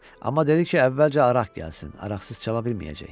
Amma dedi ki, əvvəlcə araq gəlsin, araqsız çala bilməyəcək.